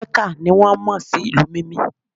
mecca ni won mo si ìlú Mimi